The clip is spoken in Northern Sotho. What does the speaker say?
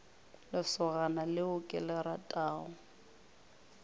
lesogana leo ke le ratago